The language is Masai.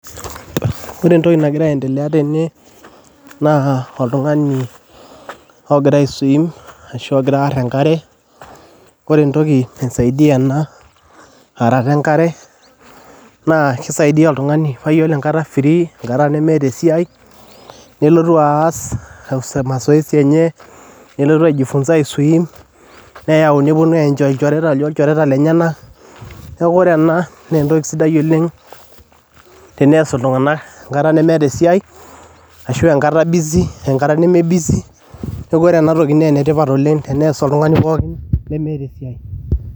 Ore entoki nagira aendelea tene naa otungani ogira aiswiim ashu agira aarr enkare, kore entoki naisaidia ena aarrata enkare naa keisaidia oltungani mataa iyolo enkata efrii, enkata nimieta esiaii nilotu aas masaoesi enyee, nilotu aijifunsa aiswiim neayau neponu aenjoi ilchoreta loo irchoreta lenyena neaku ore ena naa entoki sidai oleng teneas irtunganak inkata nemeeta esiaii ashu enkata nemee busy naaku enetipat oleng teneas ltungani pookin lemeeta esiaii.